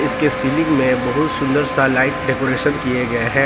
इसके सीलिंग में बहुत सुंदर सा लाइट डेकोरेशन किए गए हैं ।